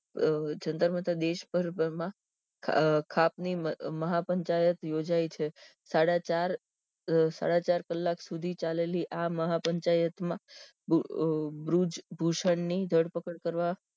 અહહ જંતરમંતર દેશ પર ખાપ ની મહા પંચાયત યોજાઈ છે સાડા ચાર સાડા ચાર કલાક સુધી ચાલેલી આ મહા પંચાયત માં બ્રુ બૃજ ભૂષણ ની ધરપકડ કરવા